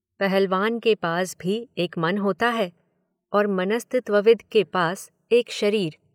पहलवान के पास भी एक मन होता है और मनस्तत्वविद् के पास एक शरीर।